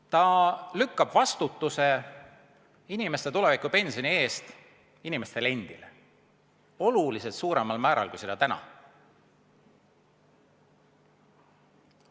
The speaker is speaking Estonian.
Ta lükkab vastutuse inimeste tulevikupensioni eest inimestele endile oluliselt suuremal määral kui täna.